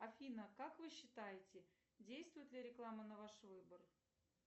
афина как вы считаете действует ли реклама на ваш выбор